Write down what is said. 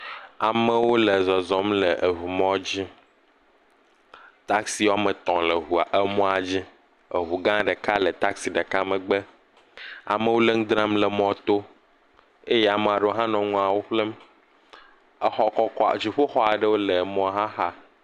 Amewo le zɔzɔm le eŋumɔdzi. taksi woame tɔ̃ le eŋua emɔdzi. eŋugã ɖeka le taksi ɖeka megbe. Amewo le nu dram le mɔto. Eye ama ɖewo hã nɔ nuawo ƒlem. Exɔ kɔkɔa, dziƒoxɔ aɖewo le emɔa xa